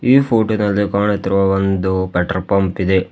ಈ ಫೋಟೋ ದಲ್ಲಿ ಕಾಣುತ್ತಿರುವ ಪೆಟ್ರೋ ಪಂಪ್ ಇದೆ.